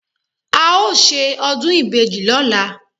a o ṣe ọdún ìbejí lọla